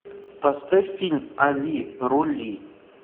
поставь фильм али рули